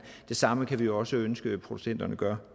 det samme kan vi jo også ønske at producenterne gør